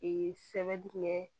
sɛbɛ dun bɛ